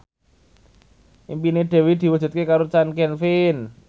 impine Dewi diwujudke karo Chand Kelvin